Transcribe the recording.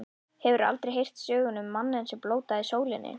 Hefurðu aldrei heyrt söguna um manninn, sem blótaði sólinni.